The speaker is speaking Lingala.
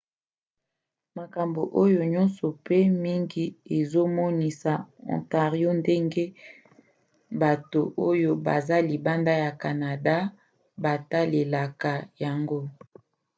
makambo oyo nyonso mpe mingi ezomonisa ontario ndenge bato oyo baza libanda ya canada batalelaka yango